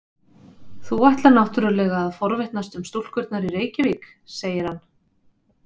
Þú ætlar náttúrlega að forvitnast um stúlkurnar í Reykjavík, segir hann.